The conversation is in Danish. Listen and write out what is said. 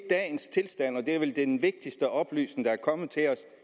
er vel den vigtigste oplysning der er kommet til os